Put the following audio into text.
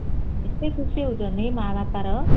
ଏତେ ଖୁସି ହଉଛନ୍ତି ମା ବାପା ର